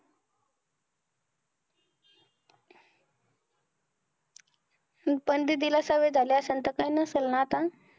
पण दीदीला सवय झाली असेल, तर काय नसेल ना आता.